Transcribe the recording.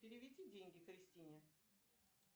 переведи деньги кристине